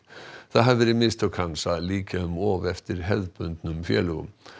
það hafi verið mistök hans að líkja um of eftir hefðbundnum félögum